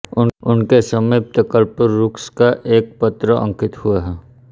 उनके समीप कल्पवृक्ष का एक पत्र अंकित हुआ है